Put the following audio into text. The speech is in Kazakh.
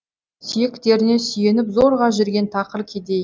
сүйектеріне сүйеніп зорға жүрген тақыр кедей